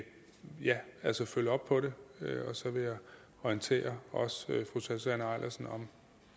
altså følge op på det og så vil jeg orientere også fru susanne eilersen om